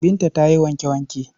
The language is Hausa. Binta ta yi wanke-wanke.